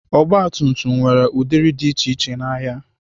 Ọgbatumtum nwere ụdịrị dị iche iche n'ahịa.